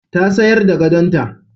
Ta sayar da gadonta.